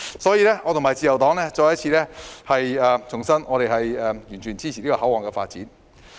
所以，我和自由黨重申，我們完全支持這個口岸的發展。